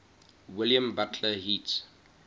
william butler yeats